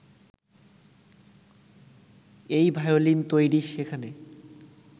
এই ভায়োলিন তৈরি, সেখানে